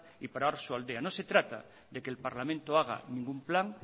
y para oarsoaldea no se trata de que el parlamento haga ningún plan